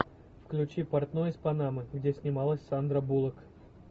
включи портной из панамы где снималась сандра буллок